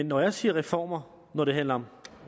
når jeg siger reformer når det handler om